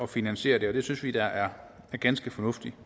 finansiere det det synes vi da er ganske fornuftigt